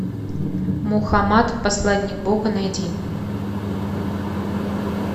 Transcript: мухаммад посланник бога найди